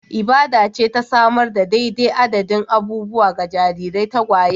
Ibada ce ta samar da daidai adadin abubuwa ga jarirai tagwaye